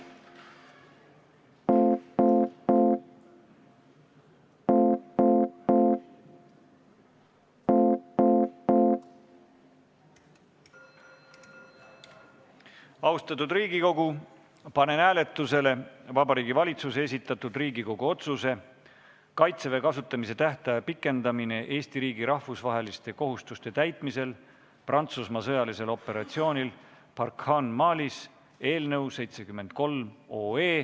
Austatud Riigikogu, panen hääletusele Vabariigi Valitsuse esitatud Riigikogu otsuse "Kaitseväe kasutamise tähtaja pikendamine Eesti riigi rahvusvaheliste kohustuste täitmisel Euroopa Liidu sõjalisel missioonil EUNAVFOR Med/Sophia" eelnõu 64.